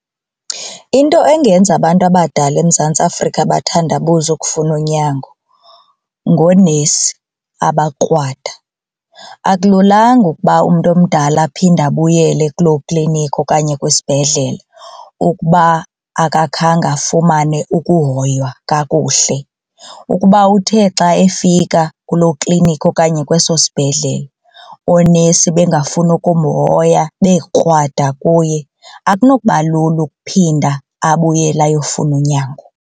Into engenza abantu abadala eMzantsi Afrika bathandabuze ukufuna unyango ngoonesi abakrwada. Akululanga ukuba umntu omdala aphinde abuyele kuloo kliniki okanye kwisibhedlele ukuba kude akakhange afumane ukuhoywa kakuhle. Ukuba uthe xa efika kuloo kliniki okanye kweso sibhedlele oonesi bengafuni ukumhoya bekrwada kuye akunoba lula ukuphinda abuyele ayofumana unyango.